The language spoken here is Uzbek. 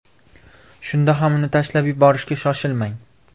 Shunda ham uni tashlab yuborishga shoshilmang.